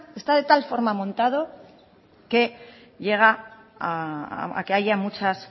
está de tal forma montado que lleva a que haya muchas